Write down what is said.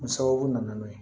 O sababu nana n'o ye